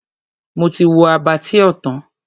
Mo ti wo Abattoir tán.